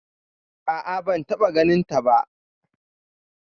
A'a ban taɓa ganin ta ba